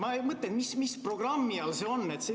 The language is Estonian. Ma mõtlen, et mis programmi all see on?